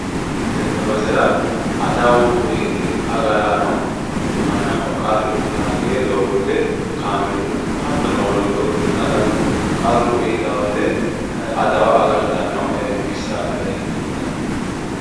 Tenne basera adawu agaraano mannaho qaru iilaki gede doogote kaameelunnino hattono wollootuno Dano qaru iilaowote wote adawo agartano bissa leeltano.